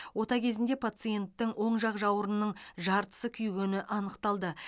ота кезінде пациенттің оң жақ жауырынының жартысы күйгені анықталды